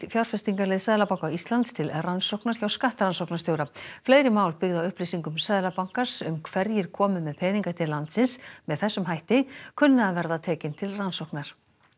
fjárfestingaleið Seðlabanka Íslands til rannsóknar hjá skattrannsóknarstjóra fleiri mál byggð á upplýsingum Seðlabankans um hverjir komu með peninga til landsins með þessum hætti kunna að verða tekin til rannsóknar